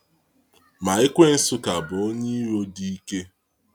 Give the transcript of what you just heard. Ma Ekwensu ka bụ onye iro dị ike.